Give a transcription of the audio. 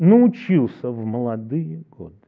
научился в молодые годы